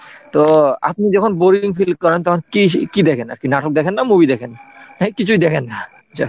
তো আপনি যখন boring feel করেন তখন কি কি দেখেন আর কি নাটক দেখেন না movie দেখেন নাকি কিছুই দেখেন না?